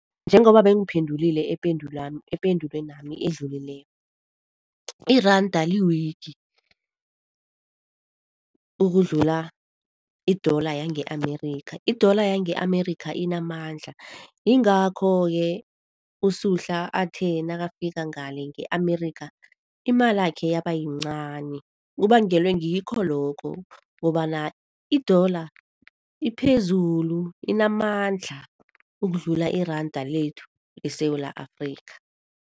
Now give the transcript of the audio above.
Njengoba bengiphendulile ependulwenami edlulileko iranda li-weak ukudlula i-dollar yange-Amerika. I-dollar yange Amerika inamandla, yingakho-ke uSuhla athe nakafika ngale nge-Amerika imalakhe yabayincani. Kubangelwe ngikho lokho ukobana i-dollar iphezulu, inamandla ukudlula iranda lethu leSewula Afrika.